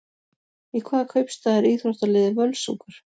Í hvaða kaupstað er íþróttaliðið Völsungur?